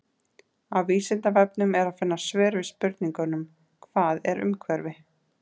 á vísindavefnum er að finna svör við spurningunum hvað er umhverfi